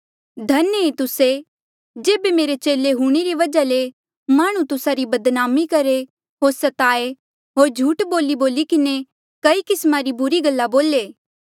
धन्य ऐें तुस्से जेबे मेरे चेले हूंणे री वजहा ले माह्णुं तुस्सा री बदनामी करहे होर स्ताये होर झूठ बोलीबोली किन्हें तुस्सा रे बरखलाफ कई किस्मा री बुरी गल्ला बोले